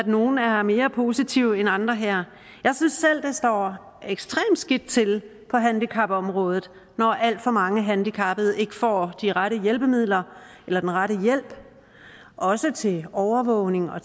nogle er er mere positive end andre her jeg synes selv det står ekstremt skidt til på handicapområdet når alt for mange handicappede ikke får de rette hjælpemidler eller den rette hjælp også til overvågning og